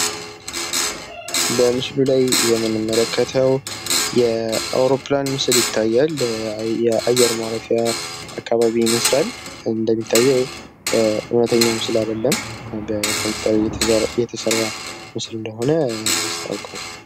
በምስሉ ላይ የምንመለከተው የአውሮፕላን ምስል ይታያል። የአየር ማረፊ አካባቢ ይመስላል እንደሚታየው እውነተኛ ምስል አይደለም በኮምፕዩተር የተሰራ ምስል እንደሆነ ያስታውቃውቃል።